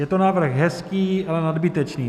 (Je to návrh hezký, ale nadbytečný.